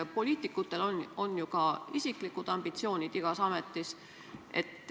Poliitikutel on ju ka isiklikud ambitsioonid igas ametis.